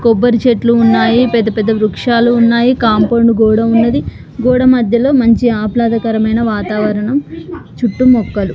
కొబ్బరి చెట్లు ఉన్నాయ్ పెద్ద పెద్ద వృక్షాలు ఉన్నాయ్ కాంపౌండ్ గోడ ఉన్నది గోడ మధ్యలో మంచి ఆహ్లాదకరమైన వాతావరణం చుట్టూ మొక్కలు.